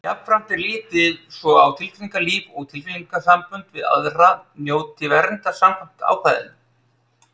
Jafnframt er litið svo á að tilfinningalíf og tilfinningasambönd við aðra njóti verndar samkvæmt ákvæðinu.